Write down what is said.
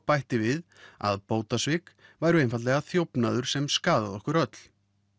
bætti við að bótasvik væru einfaldlega þjófnaður sem skaðaði okkur öll